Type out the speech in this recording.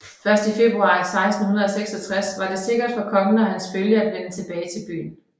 Først i februar 1666 var det sikkert for kongen og hans følge at vende tilbage til byen